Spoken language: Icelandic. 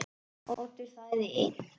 Oddur þagði enn.